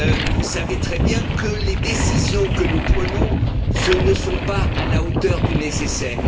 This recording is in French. nous savons très bien que les décisions que nous prenons ne sont pas à la hauteur du nécessaire.